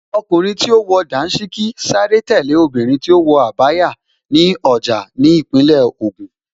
Ọkùnrin tí ó wọ Dàńṣíkí sáré tẹ̀lé obìnrin tí ó wọ Abaya ní ọjà ní Ìpínlẹ̀ Ògùn